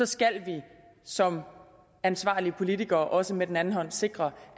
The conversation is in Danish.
skal vi som ansvarlige politikere også med den anden hånd sikre